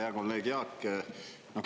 Hea kolleeg Jaak!